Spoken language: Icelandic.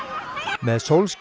með